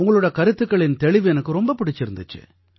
உங்களோட கருத்துக்களின் தெளிவு எனக்கு ரொம்ப பிடிச்சிருந்திச்சு